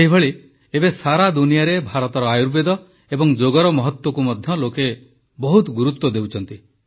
ସେହିପରି ଏବେ ସାରା ଦୁନିଆରେ ଭାରତର ଆୟୁର୍ବେଦ ଓ ଯୋଗର ମହତ୍ୱକୁ ମଧ୍ୟ ଲୋକ ବହୁତ ଗୁରୁତ୍ୱ ଦେଉଛନ୍ତି